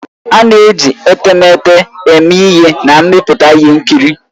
A na-eji etemeete eme ihe na mmepụta ihe nkiri